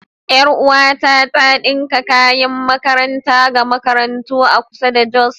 Yar uwata tana ɗinka kayan makaranta ga makarantu a kusa da Jos.